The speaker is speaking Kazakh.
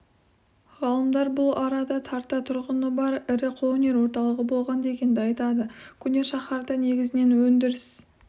ғалымдар бұл арада тарта тұрғыны бар ірі қолөнер орталығы болған дегенді айтады көне шаһарда негізінен өндіріс